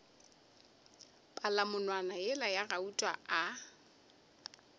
palamonwana yela ya gauta a